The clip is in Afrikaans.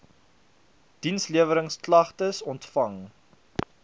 diensleweringsk lagtes ontvang